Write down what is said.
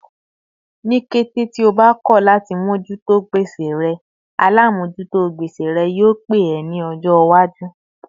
Ni kété tí ó bá kọ láti mojuto gbèsè rẹ, alamojuto gbèsè rẹ yio pé ẹ ní ọjọ iwaju